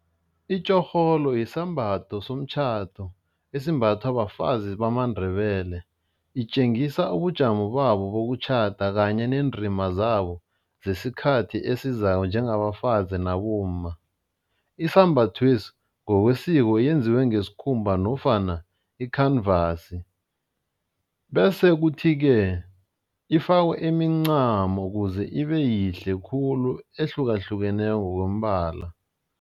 Itjorholo yisambatho somtjhado esimbathwa bafazi bamaNdebele, itjengisa ubujamo babo kokutjhada kanye neendima zabo zesikhathi esizako njengabafazi nabomma. Isambathwesi ngokwesiko yenziwe ngesikhumba nofana ikhanvasi bese kuthi ke, ifakwe imincamo kuze ibe yihle khulu ehlukahlukeneko ngokombala.